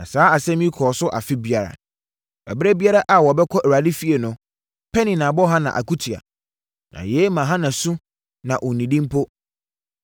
Na saa asɛm yi kɔɔ so afe biara. Ɛberɛ biara a wɔbɛkɔ Awurade fie no, Penina bɔ Hana akutia. Na yei ma Hana su na ɔnnidi mpo.